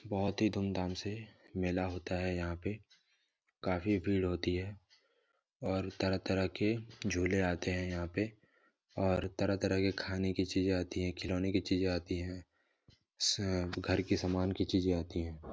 बहुत ही धूमधाम से मेला होता है यहाँ पे काफी भीड़ होती है और तरह - तरह के झूले आते है यहाँ पे और तरह - तरह के खाने की चीजे आती है खलौने की चीजे आती है घर की सामान की चीजें आती है ।